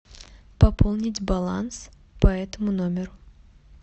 пополнить баланс по этому номеру